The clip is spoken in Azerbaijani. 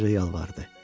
Qoca yalvardı.